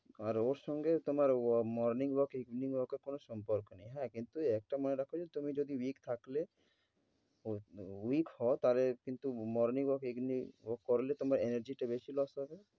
আর ওর সঙ্গে তোমার ওয়া~ morning walk evening walk এর কোন সম্পর্ক নেই। হ্যাঁ কিন্তু একটা মনে রাখ যে তুমি যদি week থাকলে ও~ week হও তাহলে কিন্তু morning walk evening walk করলে তোমার energy টা বেশি loss হবে।